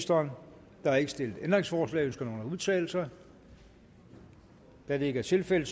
der er ikke stillet ændringsforslag ønsker nogen at udtale sig da det ikke er tilfældet